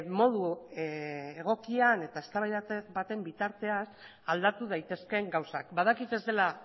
modu egokian eta eztabaida baten bitartean aldatu daitezkeen gauzak badakit ez dela